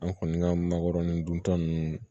An kɔni ka makɔrɔni duntɔ nunnu